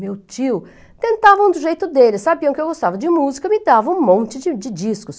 Meu tio, tentavam do jeito dele, sabiam que eu gostava de música, me davam um monte de de discos.